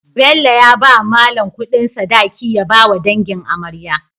Bello ya bawa mallan Ƙudin sadaki ya bawa dangin amarya